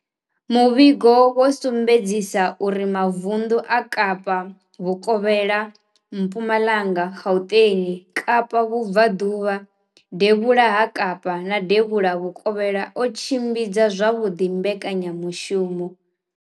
Muvhigo wo sumbedzisa uri mavundu a Kapa Vhukovhela, Mpumalanga, Gauteng, Kapa Vhubva ḓuvha, Devhula ha Kapa na Devhula Vhukovhela o tshimbidza zwavhuḓi mbekanya mushumo.